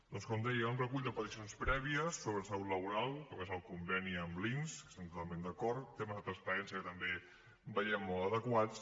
doncs com deia un recull d’aparicions prèvies sobre salut laboral com és el conveni amb l’inss que hi estem totalment d’acord temes de transparència que també veiem molt adequats